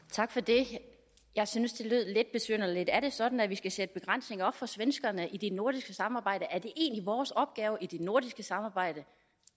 tak for det jeg syntes det lidt besynderligt er det sådan at vi skal sætte begrænsninger op for svenskerne i det nordiske samarbejde er det egentlig vores opgave i det nordiske samarbejde